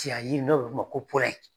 Cɛya yiri n'o bɛ fɔ o ma ko